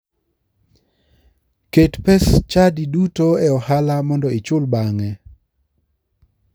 Ket pes chadi duto e ohala mondo ichul bang'e.